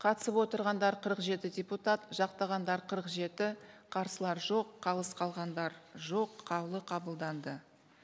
қатысып отырғандар қырық жеті депутат жақтағандар қырық жеті қарсылар жоқ қалыс қалғандар жоқ қаулы қабылданды